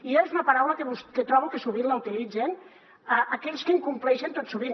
i és una paraula que trobo que sovint la utilitzen aquells que incompleixen tot sovint